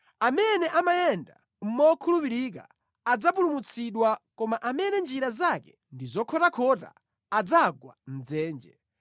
Amene amayenda mokhulupirika adzapulumutsidwa koma amene njira zake ndi zokhotakhota adzagwa mʼdzenje.